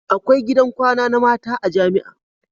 Akwai gidan kwana na mata a jamia